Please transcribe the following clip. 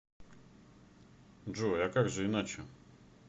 джой а как же иначе